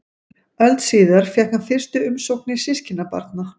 Öld síðar fékk hann fyrstu umsóknir systkinabarna.